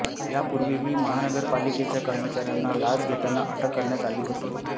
यापूर्वीही महानगरपालिकेच्या कर्मचार्यांना लाच घेताना अटक करण्यात आली होती